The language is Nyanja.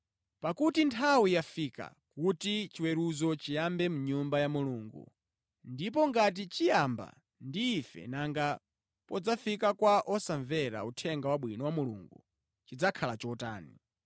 Pakuti nthawi yafika kuti chiweruzo chiyambe mʼnyumba ya Mulungu, ndipo ngati chiyamba ndi ife nanga podzafika kwa osamvera Uthenga Wabwino wa Mulungu, chidzakhala chotani?